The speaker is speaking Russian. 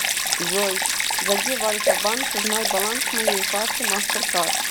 джой зайди в альфа банк узнай баланс моей карты мастеркард